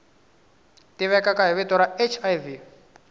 tivekaka hi vito ra hiv